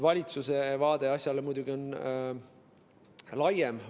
Valitsuse vaade asjale on muidugi laiem.